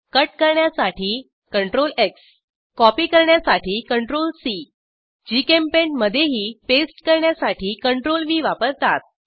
cut करण्यासाठी CTRLX copy करण्यासाठी CTRLC JChemPaint मधेही पेस्ट करण्यासाठी CTRLV वापरतात